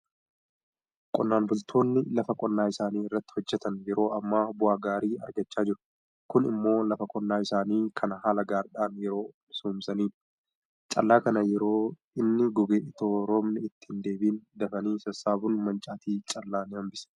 Qonnaan bultoonni lafa qonnaa isaanii irratti hojjetan yeroo ammaa bu'aa gaarii argachaa jiru. Kun immoo lafa qonnaa isaanii kana haala gaariidhaan yoo misoomsanidha. Callaa kana yeroo inni goge itoo roobni itti hindeebi'in dafanii sassaabuun mancaatii callaa ni hambisa.